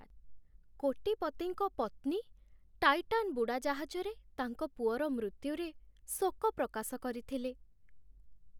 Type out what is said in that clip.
କୋଟିପତିଙ୍କ ପତ୍ନୀ ଟାଇଟାନ୍ ବୁଡ଼ାଜାହାଜରେ ତାଙ୍କ ପୁଅର ମୃତ୍ୟୁରେ ଶୋକ ପ୍ରକାଶ କରିଥିଲେ।